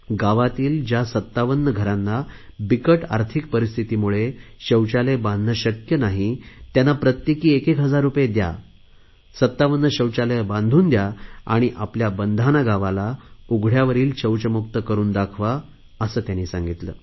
गावातील ज्या 57 घरांना बिकट आर्थिक परिस्थितीमुळे शौचालय बांधणे शक्य नाही त्यांना प्रत्येकी 1000 रुपये दया 57 शौचालये बांधून घ्या आणि आपल्या बंधाना गावाला उघडयावरील शौचमुक्त करुन दाखवा असे त्यांनी सांगितले